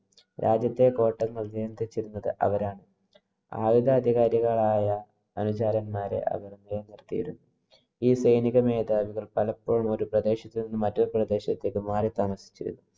രാജ്യത്തെ നിയന്ത്രിച്ചിരുന്നത് അവരാണ്. ആയുധഅധികാരികളായ അനുചരന്‍മാരെ അവര്‍ നിലനിര്‍ത്തിയിരുന്നു. ഈ സൈനിക മേധാവികള്‍ പലപ്പോഴും ഒരു പ്രദേശത്ത് നിന്നും മറ്റൊരു പ്രദേശത്തേക്ക് മാറി താമസിച്ചിരുന്നു.